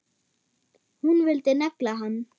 Hún vildi negla hann!